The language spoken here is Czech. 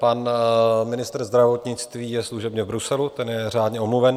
Pan ministr zdravotnictví je služebně v Bruselu, ten je řádně omluven.